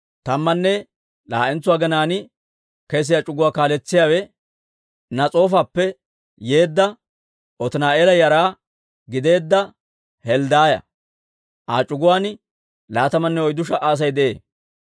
Tammanne laa'entso aginaan kesiyaa c'uguwaa kaaletsiyaawe Nas'oofappe yeedda, Otini'eela yara gideedda Helddaaya; Aa c'uguwaan laatamanne oyddu sha"a Asay de'ee.